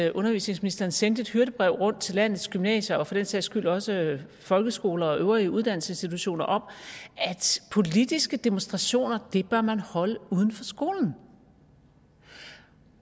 at undervisningsministeren sendte et hyrdebrev rundt til landets gymnasier og for den sags skyld også folkeskoler og øvrige uddannelsesinstitutioner om at politiske demonstrationer bør man holde uden for skolen